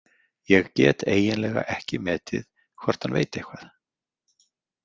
Ég get eiginlega ekki metið hvort hann veit eitthvað.